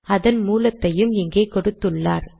அதன் மூலத்தையும் இங்கே கொடுத்துள்ளார்